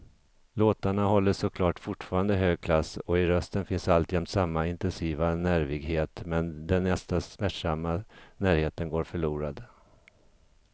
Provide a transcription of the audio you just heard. Låtarna håller såklart fortfarande hög klass och i rösten finns alltjämt samma intensiva nervighet, men den nästan smärtsamma närheten går förlorad.